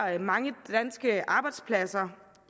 at mange danske arbejdspladser